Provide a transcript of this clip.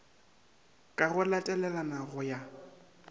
ka go latelana go ya